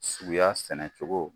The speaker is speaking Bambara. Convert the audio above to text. Suguya sɛnɛ cogo